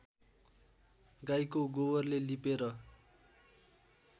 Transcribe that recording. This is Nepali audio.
गाईको गोबरले लिपेर